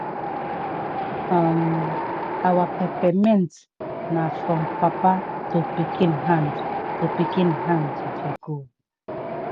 um our pepper-mint na from papa to pikin hand to pikin hand e dey go.